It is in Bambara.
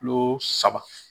Kilo saba